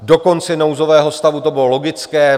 Do konce nouzového stavu to bylo logické.